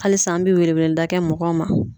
Halisa an be welewelelida kɛ mɔgɔw ma